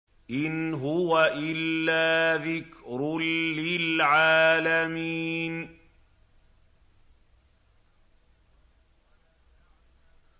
إِنْ هُوَ إِلَّا ذِكْرٌ لِّلْعَالَمِينَ